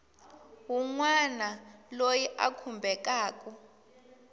wun wana loyi a khumbekaku